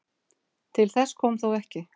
Til þess kom þó ekki.